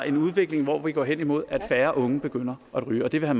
en udvikling hvor vi går hen imod at færre unge begynder at ryge og det vil